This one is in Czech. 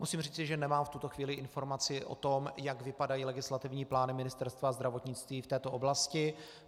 Musím říci, že nemám v tuto chvíli informaci o tom, jak vypadají legislativní plány Ministerstva zdravotnictví v této oblasti.